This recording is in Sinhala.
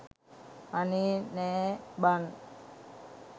අනේ නෑ බන්